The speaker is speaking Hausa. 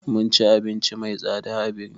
Mun ci abinci mai tsada a birni